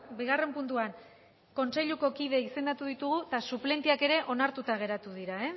bigarren puntuan kontseiluko kide izendatu ditugu eta suplenteak ere onartuta geratu dira